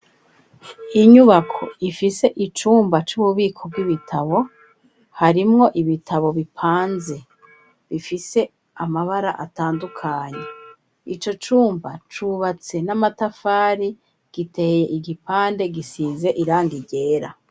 Inyubako ifise icumba c'ububiko bw'ibitabo, harimwo ibitabo bipanze bifise amabara atandukanyi ico cumba cubatse n'amatafari giteye igipande gisize iranga ryera.